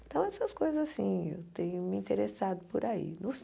Então, essas coisas assim, eu tenho me interessado por aí.